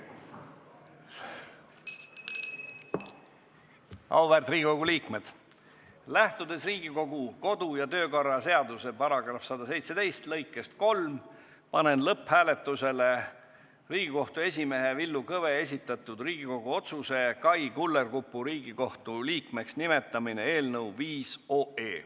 Auväärt Riigikogu liikmed, lähtudes Riigikogu kodu- ja töökorra seaduse § 117 lõikest 3, panen lõpphääletusele Riigikohtu esimehe Villu Kõve esitatud Riigikogu otsuse "Kai Kullerkupu Riigikohtu liikmeks nimetamine" eelnõu 5.